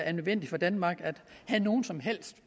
er nødvendigt for danmark at have nogen som helt